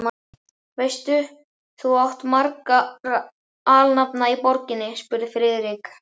Veistu, hvað þú átt marga alnafna í borginni? spurði Friðrik.